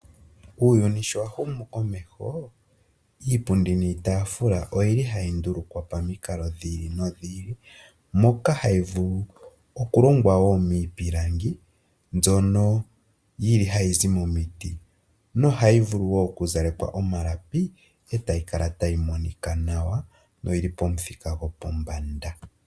Uuyuni sho wahumu komeho , iipundi niitaafula oyili hayi ndulukwa pamikalo dhiili nodhili. Moka hayi vulu okulongwa wo miipilangi mbyono yili hayi zi momiti, nohayi vulu wo okuzalekwa omalapi, etayi kala tayi monika nawa noyili pomuthika gopombanda.